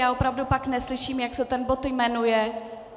Já opravdu pak neslyším, jak se ten bod jmenuje.